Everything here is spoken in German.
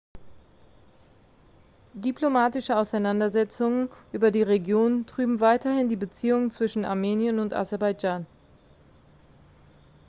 diplomatische auseinandersetzungen über die region trüben weiterhin die beziehungen zwischen armenien und aserbaidschan